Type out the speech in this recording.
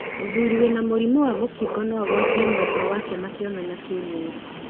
Mũthuri wĩna mũrimũ wa mũkingo no agwatie mwendwa wake makionana kĩmwĩrĩ.